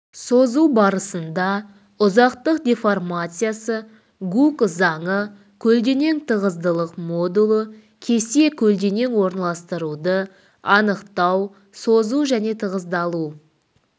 созу барысында ұзақтық деформациясы гук заңы көлденең тығыздылық модулі кесе көлденең орналастыруды анықтау созу және тығыздалу